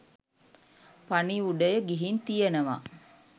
පණිවුඩය ගිහින් තියනවා